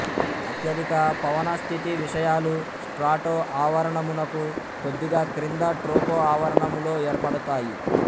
అత్యధిక పవనస్థితి విషయాలు స్ట్రాటో ఆవరణమునకు కొద్దిగా క్రింద ట్రోపో ఆవరణములో ఏర్పడుతాయి